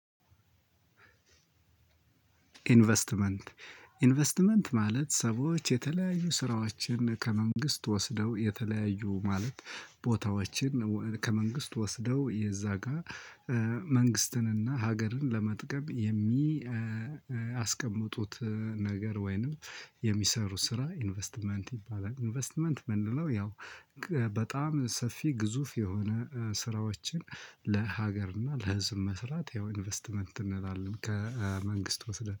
ኢንቨስትመንት ኢንቨስትመንት ማለት ሰዎች የተለያዩ ስራዎችን ከመንግስት ወስደው የተለያዩ ማለት ቦታዎችን ከመንግስት ወስደው የዛ ጋር መንግስትንና ሀገርን ለመጥቀም የሚያስቀምጡት ነገር ወይንም የሚሰሩ ስራ ኢንቨስትመንት ይባላል። ኢንቨስትመንት እምንለው ያው በጣም ሰፊ ግዙፍ የሆነ ስራዎችን ለሀገር እና ለህዝብ መስራት ያው ኢንቨስትመንት እንላለን ከመንግስት ወስደን